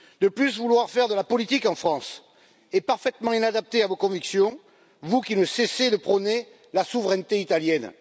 Par ailleurs, vouloir faire de la politique en France est parfaitement inadapté à vos convictions, vous qui ne cessez de prôner la souveraineté italienne.